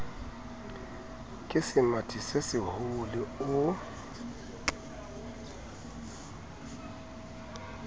ke semathi se seholo o